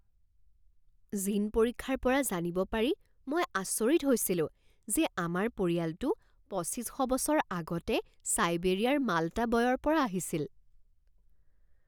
জিন পৰীক্ষাৰ পৰা জানিব পাৰি মই আচৰিত হৈছিলো যে আমাৰ পৰিয়ালটো পঁচিছ শ বছৰ আগতে ছাইবেৰিয়াৰ মাল্টা বয়ৰ পৰা আহিছিল।